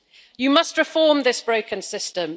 You must reform this broken system.